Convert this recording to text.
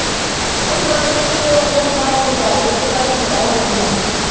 ਉਪਰੋਂ ਮੀਂਹ ਦੋ ਕੁ ਦਿਨ ਭਰ ਕੇ ਪੈ ਜਾਏ ਤੇ ਚੱਲ ਠੰਢਾ ਹੋ ਜਾਏ ਹਨਾ।